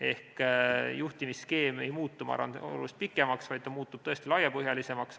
Ehk juhtimisskeem ei muutu, ma arvan, oluliselt pikemaks, ta muutub laiapõhjalisemaks.